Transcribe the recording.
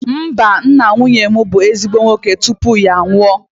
Mba, nna nwunye m bụ ezigbo nwoke tupu ya anwụọ